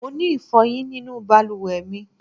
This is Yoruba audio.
Mo ni ifoyin ninu baluwe mi